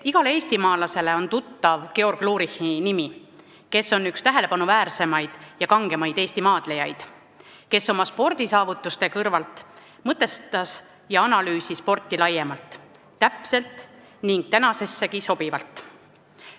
Igale eestimaalasele on tuttav Georg Lurichi nimi, kes on üks tähelepanuväärsemaid ja kangemaid Eesti maadlejaid ning kes oma spordisaavutuste kõrvalt mõtestas ja analüüsis sporti laiemalt, tänasessegi sobivalt.